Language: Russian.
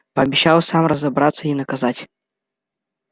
пообещал сам разобраться и наказать